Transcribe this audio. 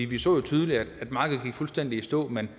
vi så jo tydeligt at markedet gik fuldstændig i stå men